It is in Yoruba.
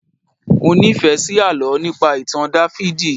Mọ nífẹ̀ẹ́ sí àlọ́ nípa ìtàn Dáfídì